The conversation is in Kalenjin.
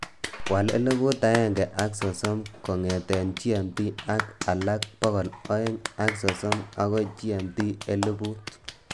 wal eliput agenga ak sosom kongeten g.m.t ak alak bogol oeng' ak sosom agoi g.m.t eliput